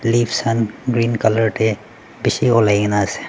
pata khan green colour teh bishi olaigena ase.